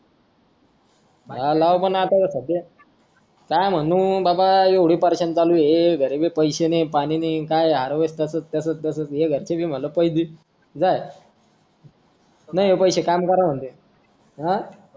हां लाव आता पण सध्या काय म्हणू बाबा एवढे चालू ये घरी बी पैसे नाही पाणी नाही ये काय हे harvest च ये घरचे बी म्हंटल पै देईल जाय नाही ये पैशे काम कर म्हणत्यात